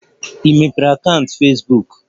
Ị mepee akaụntụ Fesbuk?